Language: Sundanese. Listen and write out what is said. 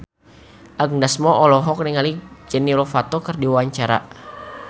Agnes Mo olohok ningali Demi Lovato keur diwawancara